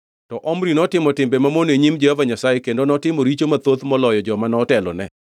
To Omri notimo timbe mamono e nyim Jehova Nyasaye kendo notimo richo mathoth moloyo joma notelo ne.